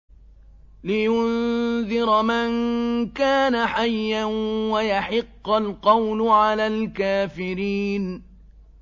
لِّيُنذِرَ مَن كَانَ حَيًّا وَيَحِقَّ الْقَوْلُ عَلَى الْكَافِرِينَ